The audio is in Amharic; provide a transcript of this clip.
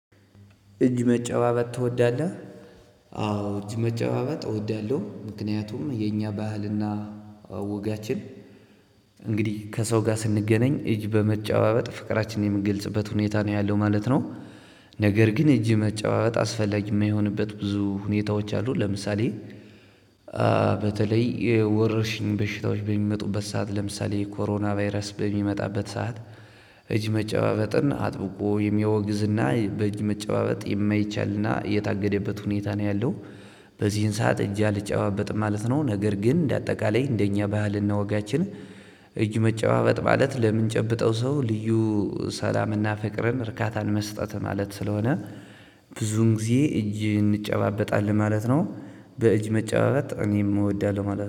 እጅ መጨባበጥ ትወዳለህ? አዎ እጅ መጨባበጥ እወዳለሁ፣ ምክንያቱም የኛ ባህልና ወጋችን እንግዲህ ከሰው ጋር ስንገናኝ እጅ በመጨባበጥ ፍቅራችንን የምንገልጽበት ሁኔታ ነው ያለው ማለት ነው። ነገር ግን እጅ መጨባበጥ አስፈላጊ የማይሆንበት ብዙ ሁኔታዎች አሉ። ለምሳሌ በተለይ ወረርሽኝ በሽታዎች በሚመጡበት ሰዓት ለምሳሌ ኮሮና ቫይረስ በሚመጣበት ሰዓት እጅ መጨባበጥን አጥብቆ የሚያወግዝና በእጅ መጨባበጥ የማይቻልና የታገደበት ሁኔታ ነው ያለው። በዚህን ሰዓት እጅ አልጨባበጥም ማለት ነው። ነገር ግን እንደ አጠቃላይ እንደኛ ባህልና ወጋችን እጅ መጨባበጥ ማለት ለምንጨብጠው ሰው ልዩ ሰላምና ፍቅርን እርካታን መስጠት ማለት ስለሆነ ብዙን ጊዜ እጅ እንጨባበጣለን ማለት ነው። በእጅ መጫባበጥ እኔም እወዳለሁ ማለት ነው።